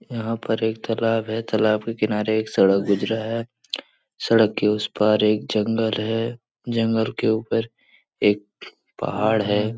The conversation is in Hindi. यहाँ पर एक तालाब है तालाब के किनारे एक सड़क दिख रहा है सड़क के उस पार एक जंगल है जंगल के ऊपर एक पहाड़ है।